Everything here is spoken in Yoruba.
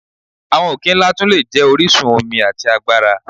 Awọn oke-nla tun le jẹ orisun omi ati agbara.